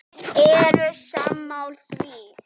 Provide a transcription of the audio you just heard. Eru sammála því?